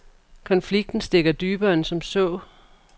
Konflikten stikker dybere end som så.